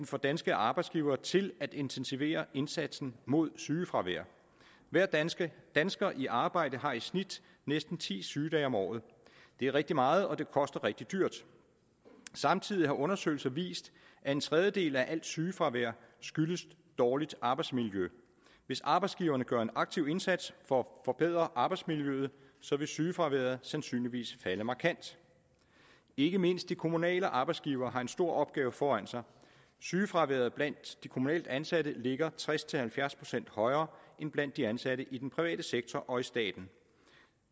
får danske arbejdsgivere til at intensivere indsatsen mod sygefravær hver dansker dansker i arbejde har i snit næsten ti sygedage om året det er rigtig meget og det koster rigtig dyrt samtidig har undersøgelser vist at en tredjedel af alt sygefravær skyldes dårligt arbejdsmiljø hvis arbejdsgiverne gør en aktiv indsats for forbedre arbejdsmiljøet vil sygefraværet sandsynligvis falde markant ikke mindst de kommunale arbejdsgivere har en stor opgave foran sig sygefraværet blandt de kommunalt ansatte ligger tres til halvfjerds procent højere end blandt de ansatte i den private sektor og i staten